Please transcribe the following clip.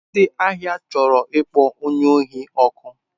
Ndị ahịa chọrọ ịkpọ onye ohi ọkụ.